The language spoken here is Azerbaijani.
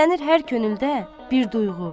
bəslənir hər könüldə bir duyğu.